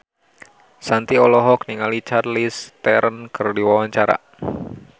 Shanti olohok ningali Charlize Theron keur diwawancara